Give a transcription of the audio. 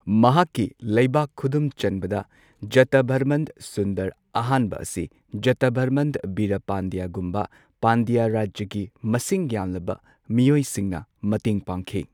ꯃꯍꯥꯛꯀꯤ ꯂꯩꯕꯥꯛ ꯈꯨꯗꯨꯝ ꯆꯟꯕꯗ, ꯖꯇꯚꯔꯃꯟ ꯁꯨꯟꯗꯔ ꯑꯍꯥꯟꯕ ꯑꯁꯤ ꯖꯇꯥꯚꯔꯃꯟ ꯕꯤꯔꯥ ꯄꯥꯟꯗ꯭ꯌꯥꯒꯨꯝꯕ ꯄꯥꯟꯗ꯭ꯌꯥ ꯔꯥꯖ꯭ꯌꯒꯤ ꯃꯁꯤꯡ ꯌꯥꯝꯂꯕ ꯃꯤꯑꯣꯏꯁꯤꯡꯅ ꯃꯇꯦꯡ ꯄꯥꯡꯈꯤ꯫